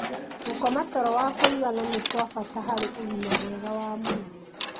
Gũkoma toro wa kũigana nĩ kwa bata harĩ ũgima mwega wa mwĩrĩ